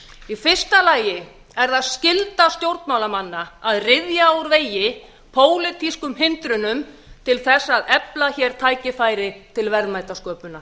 í fyrsta lagi er það skylda stjórnmálamanna að ryðja úr vegi pólitískum hindrunum til þess efla hér tækifæri til verðmætasköpunar